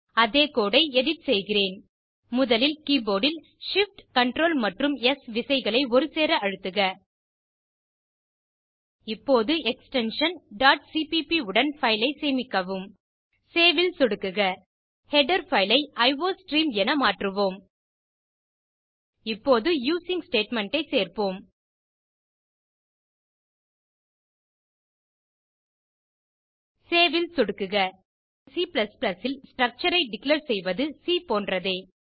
அதே கோடு ஐ எடிட் செய்கிறேன் முதலில் கீபோர்ட் ல் shift Ctrl மற்றும் ஸ் விசைகளை ஒருசேர அழுத்துக இப்போது எக்ஸ்டென்ஷன் cpp உடன் பைல் ஐ சேமிக்கவும் சேவ் ல் சொடுக்குக ஹெடர் பைல் ஐ அயோஸ்ட்ரீம் என மாற்றுவோம் இப்போது யூசிங் ஸ்டேட்மெண்ட் ஐ சேர்ப்போம் சேவ் ல் சொடுக்குக C ல் ஸ்ட்ரக்சர் ஐ டிக்ளேர் செய்வது சி போன்றதே